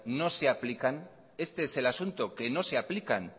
no se aplican este es el asunto que no se aplican